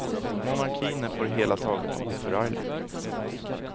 Monarkin är på det hela taget oförarglig.